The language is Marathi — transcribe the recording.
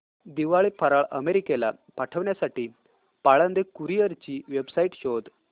दिवाळी फराळ अमेरिकेला पाठविण्यासाठी पाळंदे कुरिअर ची वेबसाइट शोध